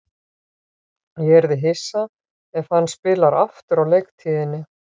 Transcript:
Ég yrði hissa ef hann spilar aftur á leiktíðinni.